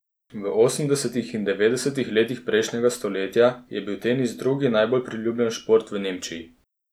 V osemdesetih in devetdesetih letih prejšnjega stoletja je bil tenis drugi najbolj priljubljen šport v Nemčiji.